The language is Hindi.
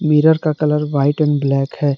मिरर का कलर व्हाइट एंड ब्लैक है।